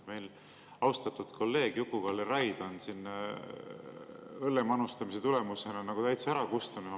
Meil siin austatud kolleeg Juku-Kalle Raid on õlle manustamise tulemusena täitsa ära kustunud.